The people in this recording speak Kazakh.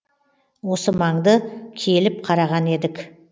осы маңды келіп қараған едік